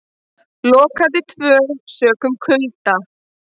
Lokað til tvö sökum kulda